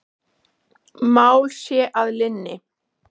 Mál sé að linni.